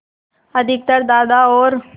अधिकतर दादा और